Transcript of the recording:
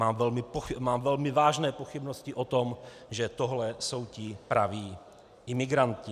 Mám velmi vážné pochybnosti o tom, že tohle jsou ti praví imigranti.